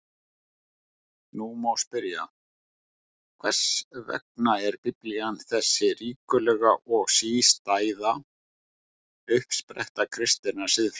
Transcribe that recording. Nú má spyrja: Hvers vegna er Biblían þessi ríkulega og sístæða uppspretta kristinnar siðfræði?